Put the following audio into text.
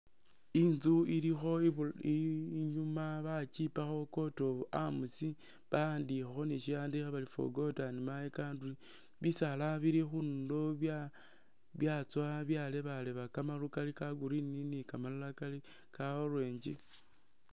Imzu ilikho ibu inyuma bakipakho court of arms bawandikhakho ni shiwandikho bari for God and my country, bisaala bili khundulo bya byatsowa byalebaleba kamasaafu kali ka Green ni kamalala kali ka orange.